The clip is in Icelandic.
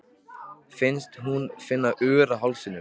Finnst hún finna ör á hálsinum.